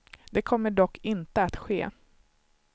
Det kommer dock inte att ske.